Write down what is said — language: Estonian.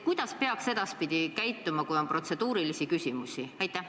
Kuidas peaks edaspidi käituma, kui on protseduurilisi küsimusi?